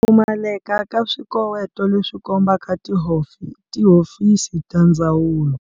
Pfumaleka ka swikoweto leswi kombaka tihofisi ta ndzawulo.